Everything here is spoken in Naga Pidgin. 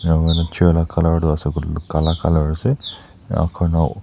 enakurina chair la colour tu ase koilae tu kala colour ase enakurina--